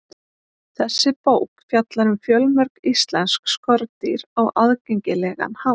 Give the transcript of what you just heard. Þessi bók fjallar um fjölmörg íslensk skordýr á aðgengilegan hátt.